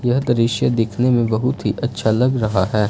यह दृश्य दिखने में बहुत ही अच्छा लग रहा है।